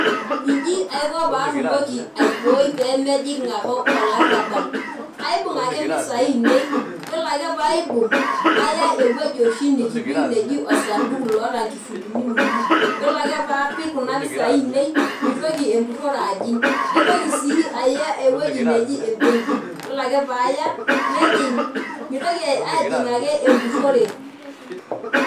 Iji aiko patumoki aibooi pemejing' ake olarrabal. Kaibung' ake mpisai ainei, yiolo ake paibung',naya ewueji oshi nikipik neji osaduku loota nkifulini uni. Yiolo ake paapik kuna pisai ainei, mitoki empurrore ajing'. Naitoki si aya ewoi neji ebenki. Yiolo ake paya, nejing' mitoki ajing' ake empurrore.